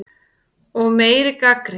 Og meiri gagnrýni.